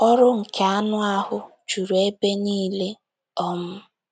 “ Ọrụ nke anụ ahụ́ ” juru ebe niile um.